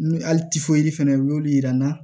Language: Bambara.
Ni hali fɛnɛ y'olu yira n na